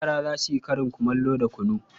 Yara za su yi karin kumallo da kunu.